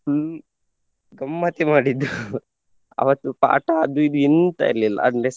full ಗಮ್ಮತ್ತೇ ಮಾಡಿದ್ದು ಅವತ್ತು ಪಾಠ ಅದು ಇದು ಎಂತ ಇರ್ಲಿಲ್ಲ ಅಂದ್ರೆ.